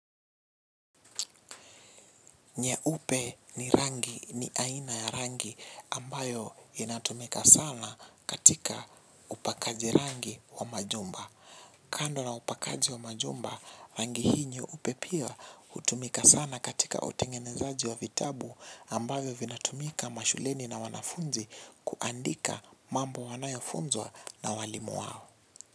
Nyeupe ni rangi ni aina ya rangi ambayo inatumika sana katika upakaji rangi wa majumba. Kando na upakaji wa majumba rangi hii nyeupe pia hutumika sana katika utengenezaji wa vitabu ambavyo vinatumika mashuleni na wanafunzi kuandika mambo wanayo funzwa na walimu wao.